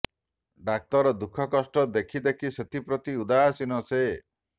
ଡାକ୍ତର ଦୁଃଖ କଷ୍ଟ ଦେଖି ଦେଖି ସେଥିପ୍ରତି ଉଦାସୀନ ସେ